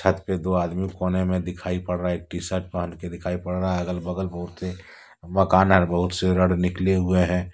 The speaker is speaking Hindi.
छत पर दो आदमी कोने में दिखाई पड़ रहा है एक टी शर्ट पहन के दिखाई पड़ रहा है अगल -बगल बहुत ही मकान है और बहुत से रड निकले हुए हैं।